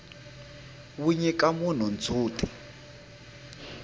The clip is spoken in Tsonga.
wu nyika munhu ndzhuti